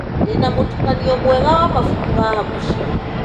Ndĩna mũtukanio mwega wa mabuku haha mũciĩ.